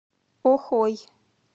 охой